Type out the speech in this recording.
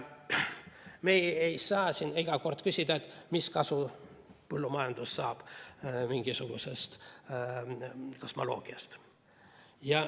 Me ei saa iga kord küsida, et mis kasu põllumajandus saab mingisugusest kosmoloogiast.